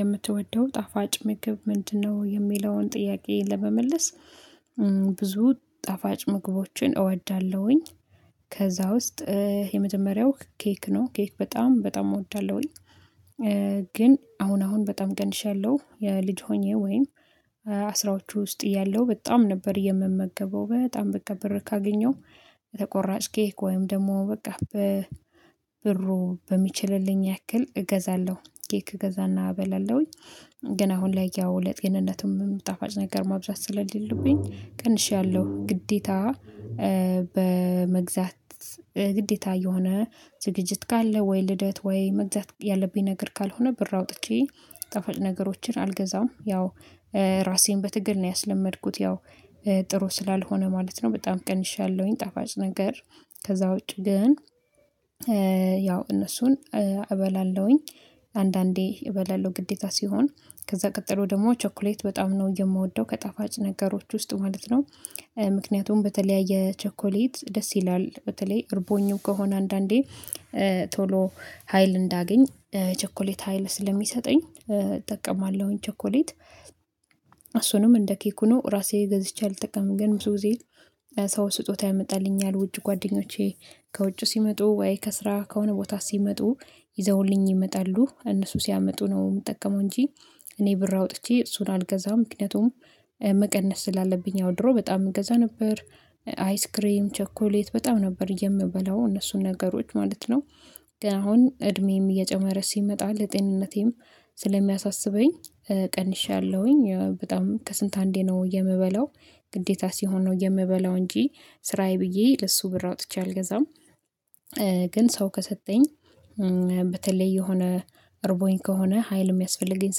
የምትወደው ጣፋጭ ምግብ ምንድነው? የሚለውን ጥያቄ ለመመለስ ብዙ ጣፋጭ ምግቦችን እወዳለሁኝ። ከዛ ውስጥ የመጀመሪያው ኬክ ነው ኬክ በጣም በጣም እወዳለሁኝ። ግን አሁን አሁን በጣም ቀንሻለሁ። ልጅ ሆኜ ወይም አስራዎቹ ውስጥ እያለው በጣም ነበር የምመገበው በጣም በቃ ብር ካገኘው በተቆራጭ ኬክ ወይም ደግሞ በቃ ብሩ በሚችልልኝ ያክል እገዛለሁ ኬክ እገዛና እበላለሁኝ። ግን አሁን ላይ ያው ለጤንነቱም ጣፋጭ ነገር ማብዛት ስለሌሉብኝ ቀንሻለሁ ግዴታ። በመግዛት ግዴታ እየሆነ ዝግጅት ካለ ወይ ልደት ወይ መግዛት ያለብኝ ነገር ካልሆነ ብር አውጥቼ ጣፋጭ ነገሮችን አልገዛም ያው ራሴን በትግል ነው ያስለመድኩት ያው ጥሩ ስላልሆነ ማለት ነው በጣም ቀንሻለሁኝ። ጣፋጭ ነገር ከዛ ውጪ ግን ያው እነሱን እበላለሁኝ አንዳንዴ እበላለሁ ግዴታ ሲሆን ከዛ ቀጥሎ ደግሞ ቸኮሌት በጣም ነው የምወደው ከጣፋጭ ነገሮች ውስጥ ማለት ነው። ምክንያቱም በተለያየ ቸኮሌት ደስ ይላል በተለይ እርቦኝም ከሆነ አንዳንዴ ቶሎ ሀይል እንዳገኝ ቸኮሌት ሀይል ስለሚሰጠኝ እጠቀማለሁኝ ቸኮሌት። እሱንም እንደ ኬኩ ነው ራሴ ገዝቼ አልጠቀምም። ግን ብዙ ጊዜ ሰው ስጦታ ያመጣልኛል ውጭ ጓደኞቼ ከውጭ ሲመጡ ወይ ከስራ ከሆነ ቦታ ሲመጡ ይዘውልኝ ይመጣሉ እነሱ ሲያመጡ ነው የምጠቀመው እንጂ እኔ ብር አውጥቼ እሱን አልገዛም። ምክንያቱም መቀነስ ስላለብኝ ያውድሮ በጣም እገዛ ነበር አይስክሬም ቸኮሌት በጣም ነበር የምበላው እነሱን ነገሮች ማለት ነው። ግን አሁን እድሜም እየጨመረ ሲመጣ ለጤንነቴም ስለሚያሳስበኝ ቀንሻለሁኝ በጣም ከስንት አንዴ ነው የምበለው ግዴታ ሲሆን ነው የምበለው እንጂ ስራዬ ብዬ ለሱ ብር አውጥቼ አልገዛም። ግን ሰው ከሰጠኝ በተለይ የሆነ እርቦኝ ከሆነ ሀይል የሚያስፈልገኝ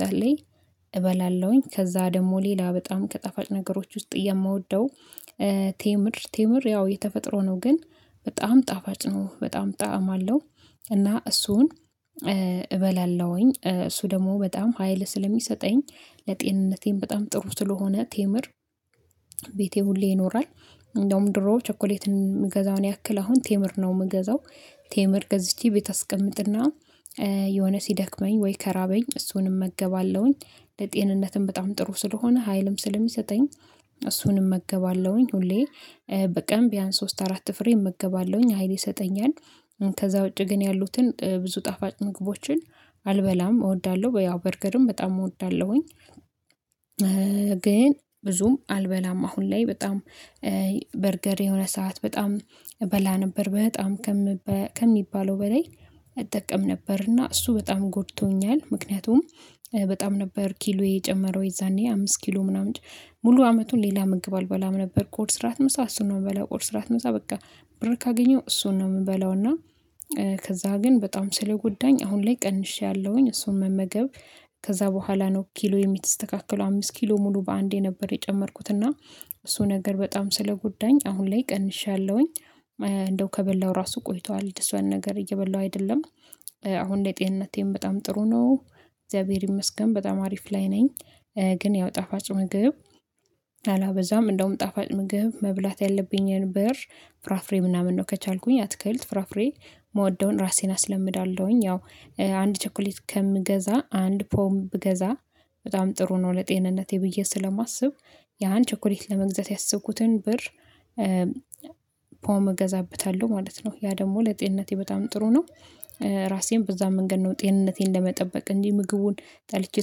ሰዓት ላይ እበላለሁኝ። ከዛ ደግሞ ሌላ በጣም ከጣፋጭ ነገሮች ውስጥ የምወደው ቴምር ቴምር ያው የተፈጥሮ ነው ግን በጣም ጣፋጭ ነው በጣም ጣዕም አለው እና እሱን እበላለሁኝ እሱ ደግሞ በጣም ሀይል ስለሚሰጠኝ ለጤንነቴም በጣም ጥሩ ስለሆነ ቴምር። ቤቴ ሁሌ ይኖራል እንደውም ድሮ ቸኮሌትን የምገዛውን ያክል አሁን ቴምር ነው የምገዛው። ቴምር ገዝቼ ቤት አስቀምጥና የሆነ ሲደክመኝ ወይ ከራበኝ እሱንም እመገባለሁኝ ለጤንነትም በጣም ጥሩ ስለሆነ ሀይልም ስለሚሰጠኝ እሱንም እመገባለሁኝ ሁሌ በቀን ቢያንስ ሶስት አራት ፍሬ እመገባለሁኝ ሀይል ይሰጠኛል። ከዛ ውጪ ግን ያሉትን ብዙ ጣፋጭ ምግቦችን አልበላም እወዳለሁ ያው በርገርም በጣም እወዳለሁኝ። ግን ብዙም አልበላም አሁን ላይ በጣም በርገር የሆነ ሰዓት በጣም እበላ ነበር በጣም ከሚባለው በላይ እጠቀም ነበርና እሱ በጣም ጎድቶኛል። ምክንያቱም በጣም ነበር ኪሎ የጨመረው የዛኔ አምስት ኪሎ ምናምን ሙሉ አመቱን ሌላ ምግብ አልበላም ነበር ቁርስ ራት ምሳ እሱን ነው የምበላው ቁርስ ራት ምሳ ስበቃ ብር ካገኘው እሱን ነው የምበላው እና። ከዛ ግን በጣም ስለጎዳኝ አሁን ላይ ቀንሼአለሁኝ እሱን መመገብ ከዛ በኋላ ነው ኪሎ የተስተካከለው አምስት ኪሎ ሙሉ በአንዴ ነበር የጨመርኩት እና እሱ ነገር በጣም ስለጎዳኝ አሁን ላይ ቀንሻለሁኝ። እንደው ከበላው ራሱ ቆይቷል እንደሱ አይነት ነገር እየበላው አይደለም አሁን ላይ ጤንነቴን በጣም ጥሩ ነው እግዚአብሔር ይመስገን በጣም አሪፍ ላይ ነኝ። ግን ያው ጣፋጭ ምግብ አላበዛም እንደውም ጣፋጭ ምግብ መብላት ያለብኝን ብር ፍራፍሬ ምናምን ነው ከቻልኩኝ አትክልት ፍራፍሬ የምወደውን ራሴን አስለምዳለሁኝ ያው አንድ ቸኮሌት ከምገዛ አንድ ፖም ብገዛ በጣም ጥሩ ነው ለጤንነቴ ብዬ ስለማስብ ያን ቸኮሌት ለመግዛት ያሰብኩትን ብር ፖም እገዛበታለሁ ማለት ነው ያ ደግሞ ለጤንነቴ በጣም ጥሩ ነው። ራሴን በዛ መንገድ ነው ጤንነቴን ለመጠበቅ እንጂ ምግቡን ጠልቼ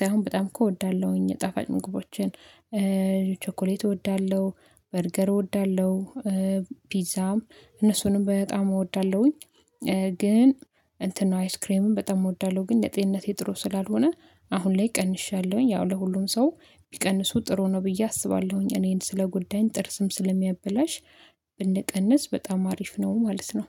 ሳይሆን በጣም እኮ እወዳለሁኝ ጣፋጭ ምግቦችን ቾኮሌት እወዳለሁ በርገር እወዳለሁ ፒዛም እነሱንም በጣም እወዳለሁኝ። ግን እንትን ነው አይስክሬምን በጣም እወዳለሁ ግን ለጤንነቴ ጥሩ ስላልሆነ አሁን ላይ ቀንሻለሁኝ። ያው ለሁሉም ሰው ቢቀንሱ ጥሩ ነው ብዬ አስባለሁኝ እኔን ስለጎዳኝ ጥርስም ስለሚያበላሽ ብንቀንስ በጣም አሪፍ ነው ማለት ነው